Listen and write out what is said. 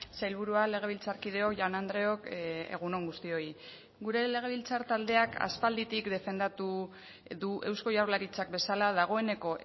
sailburua legebiltzarkideok jaun andreok egun on guztioi gure legebiltzar taldeak aspalditik defendatu du eusko jaurlaritzak bezala dagoeneko